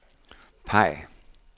peg